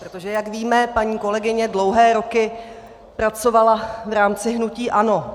Protože jak víme, paní kolegyně dlouhé roky pracovala v rámci hnutí ANO.